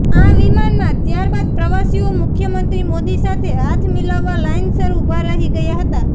આ વિમાનમાં ત્યારબાદ પ્રવાસીઓ મુખ્યમંત્રી મોદી સાથે હાથ મિલાવવા લાઇનસર ઉભા રહી ગયા હતા